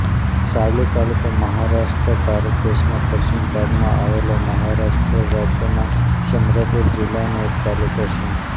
સાવલી તાલુકો મહારાષ્ટ્ર ભારત દેશના પશ્ચિમ ભાગમાં આવેલા મહારાષ્ટ્ર રાજ્યના ચંદ્રપૂર જિલ્લાનો એક તાલુકો છે